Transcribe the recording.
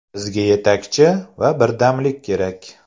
Bizga yetakchi va birdamlik kerak.